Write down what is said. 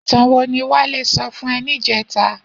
Itàn wó ni Wale sò fún è nijètá?